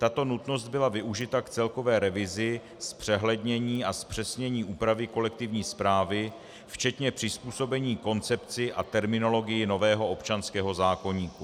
Tato nutnost byla využita k celkové revizi, zpřehlednění a zpřesnění úpravy kolektivní správy včetně přizpůsobení koncepci a terminologii nového občanského zákoníku.